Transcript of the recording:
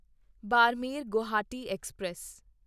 Barmer Guwahati express